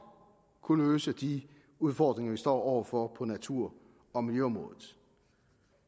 kunne løse de udfordringer vi står over for på natur og miljøområdet